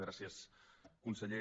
gràcies conseller